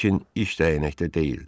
Lakin iş dəyənəkdə deyildi.